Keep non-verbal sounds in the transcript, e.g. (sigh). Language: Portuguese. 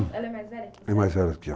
Ela é mais velha? (unintelligible) é mais velha do que eu.